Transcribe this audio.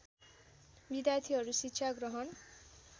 विद्यार्थीहरू शिक्षा ग्रहण